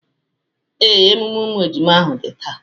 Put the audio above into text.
Ee, emume umu ejima ahụ dị taa.